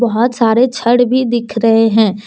बहुत सारे छड़ भी दिख रहे हैं।